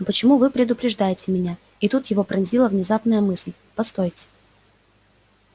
но почему вы предупреждаете меня и тут его пронзила внезапная мысль постойте